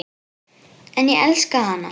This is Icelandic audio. En ég elska hana.